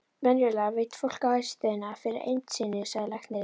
Venjulega veit fólk ástæðuna fyrir eymd sinni, sagði læknirinn.